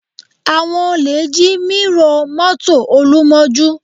Àwọn olè jí mírọ̀ mọ́tò Olú mọ́jú